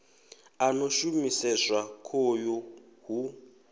a no shumiseswa khoyu hu